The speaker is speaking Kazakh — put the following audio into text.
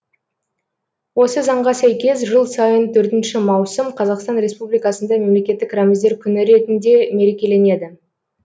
осы заңға сәйкес жыл сайын төртінші маусым қазақстан республикасында мемлекеттік рәміздер күні ретінде мерекеленеді